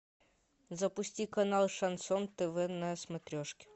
запусти канал шансон тв на смотрешке